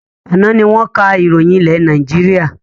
Àná ni wọn ká ìròyìn ilé Nàìjíríà